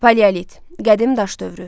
Paleolit, qədim daş dövrü.